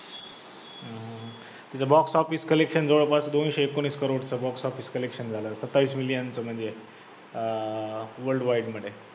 तिथे box office collection जवळ माझं दोनशे एकोणीस crores चं box office collection झालं, सत्तावीस million चं म्हणजे अं world wide मध्ये